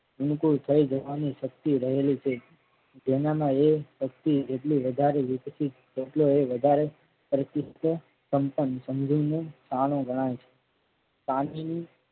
બિલકુલ થઈ જવાની શક્તિ રહેલી છે જેના માં એ શક્તિ જેટલી વધારે વિકસિત એટલો એ વધારે ગણાય છે.